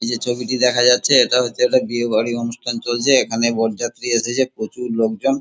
এই যে ছবিটি দেখা যাচ্ছে এটা হচ্ছে একটা বিয়েবাড়ির অনুষ্ঠান চলছে এখানে বরযাত্রী এসেছে প্রচুর লোকজন।